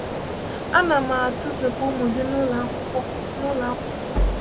A na m na-atụpụ ụmụ gị n’ụlọ akwụkwọ! n’ụlọ akwụkwọ